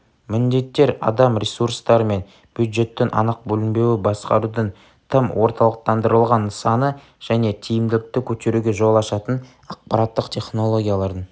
міндеттер адам ресурстары мен бюджеттің анық бөлінбеуі басқарудың тым орталықтандырылған нысаны және тиімділікті көтеруге жол ашатын ақпараттық технологиялардың